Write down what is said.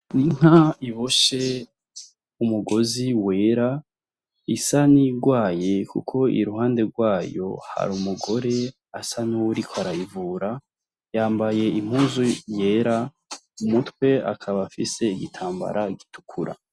Inka iboshe umugozi wera, isa n'iyigwaye kuko iruhande rwayo hari umugore asa n'uwuriko arayivura, yambaye impuzu yera, mu mutwe akaba afise igitambara gitukura.